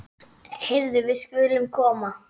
Heyrðu, við skulum koma.